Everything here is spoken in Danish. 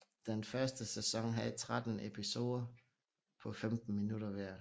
Den første sæson havde tretten episoder på 15 minutter hver